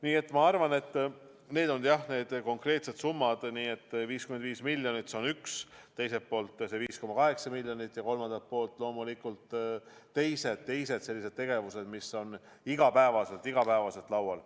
Nii et ma arvan, et need on need konkreetsed summad: ühelt poolt 55 miljonit, teiselt poolt 5,8 miljonit ja kolmandalt poolt loomulikult teised sellised tegevused, mis on iga päev laual.